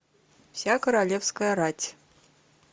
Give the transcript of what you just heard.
вся королевская рать